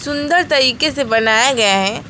सुंदर तरीके से बनाया गया है।